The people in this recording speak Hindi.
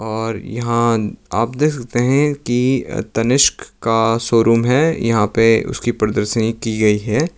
और यहां आप देश सकते है कि तनिष्क का शोरूम है यहां पे उसकी प्रदर्शनी की गई है।